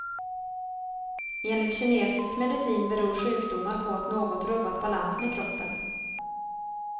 Enligt kinesisk medicin beror sjukdomar på att något rubbat balansen i kroppen.